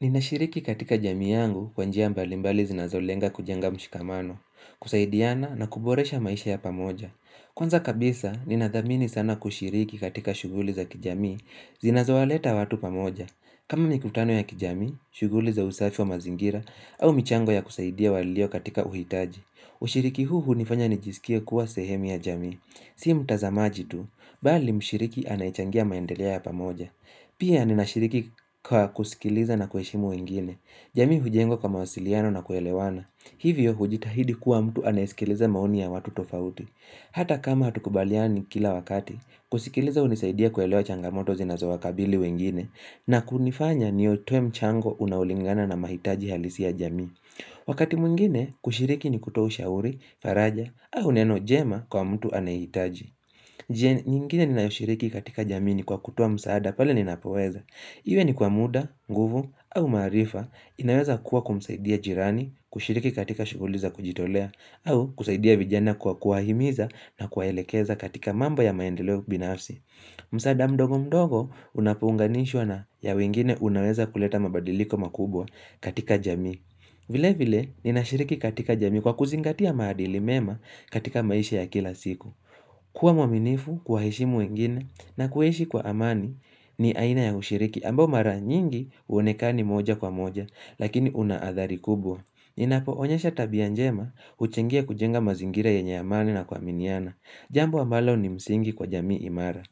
Ninashiriki katika jamii yangu kwa njia mbalimbali zinazolenga kujenga mshikamano, kusaidiana na kuboresha maisha ya pamoja. Kwanza kabisa, ninathamini sana kushiriki katika shuguli za kijamii zinazowaleta watu pamoja. Kama mikutano ya kijamii, shuguli za usafi wa mazingira au michango ya kusaidia walio katika uhitaji. Ushiriki huu hunifanya nijisikie kuwa sehemu ya jamii. Si mtazamaji tu, bali mshiriki anayechangia maendeleo ya pamoja. Pia ninashiriki kwa kusikiliza na kuheshimu wengine, jamii hujengwa kwa mawasiliano na kuelewana, hivyo hujitahidi kuwa mtu anayesikiliza maoni ya watu tofauti. Hata kama hatukubaliani kila wakati, kusikiliza hunisaidia kuelewa changamoto zinazowakabili wengine, na kunifanya niutowe mchango unaolingana na mahitaji halisi ya jamii. Wakati mwingine, kushiriki ni kutoa ushauri, faraja, au neno jema kwa mtu anayehitaji. Njia nyingine ninayoshiriki katika jamii ni kwa kutowa msaada pale ninapoweza. Iwe ni kwa muda, nguvu, au maarifa, inaweza kuwa kumsaidia jirani, kushiriki katika shuguli za kujitolea, au kusaidia vijana kwa kuwahimiza na kuwaelekeza katika mambo ya maendeleo binafsi. Msaada mdogo mdogo unapounganishwa na ya wengine unaweza kuleta mabadiliko makubwa katika jamii. Vile vile, ninashiriki katika jamii kwa kuzingatia maadili mema katika maisha ya kila siku. Kuwa mwaminifu kuwaheshimu wengine na kuishi kwa amani ni aina ya ushiriki ambao mara nyingi uonekani moja kwa moja lakini una athari kubwa. Ninapoonyesha tabia njema huchangia kujenga mazingira yenye amani na kuaminiana. Jambo ambalo ni msingi kwa jamii imara.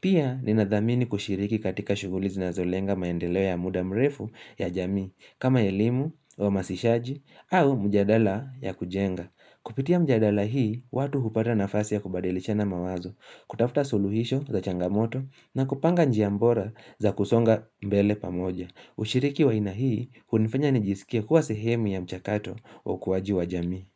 Pia ninadhamini kushiriki katika shuguli zinazolenga maendeleo ya muda mrefu ya jamii kama elimu uhamasishaji au mjadala ya kujenga. Kupitia mjadala hii, watu hupata nafasi ya kubadilishana mawazo, kutafuta suluhisho za changamoto na kupanga njia mbora za kusonga mbele pamoja. Ushiriki wa aina hii, hunifanya nijisikie kuwa sehemu ya mchakato wa ukuwaji wa jami.